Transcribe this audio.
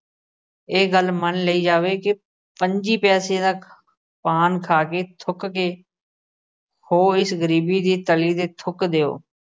ਇਹ ਗੱਲ ਮੰਨ ਲਈ ਜਾਵੇ ਕਿ ਪੰਝੀ ਪੈਸੇ ਦਾ ਖਾ ਅਹ ਪਾਨ ਖਾ ਕੇ ਥੁੱਕ ਕੇ ਇਸ ਗਰੀਬੀ ਦੀ ਤਲੀ ਤੇ ਥੁੱਕ ਦਿਉ।